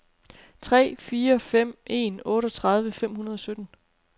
tre fire fem en otteogtredive fem hundrede og sytten